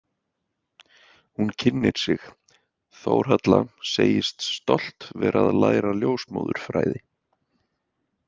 Hún kynnir sig, Þórhalla, segist stolt vera að læra ljósmóðurfræði.